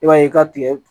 I b'a ye i ka tigɛ